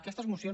aquestes mocions